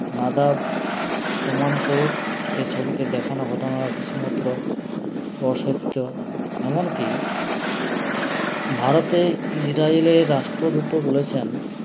নাদাব প্রমাণ করুক এছবিতে দেখানো ঘটনা কিছুমাত্র অসইত্য এমনকি ভারতে ইজরায়েলের রাষ্ট্রদূতও বলেছেন